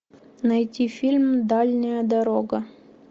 найти фильм дальняя дорога